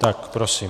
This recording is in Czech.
Tak prosím.